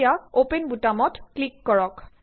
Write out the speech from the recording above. এতিয়া অপেন বুতামটোত ক্লিক কৰক